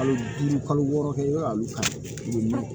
Kalo duuru kalo wɔɔrɔ kɛ yɔrɔ ka bon